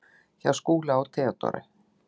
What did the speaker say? Hjá Skúla og Theodóru.